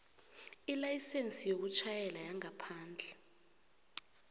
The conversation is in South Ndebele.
ilayisense yokutjhayela yangaphandle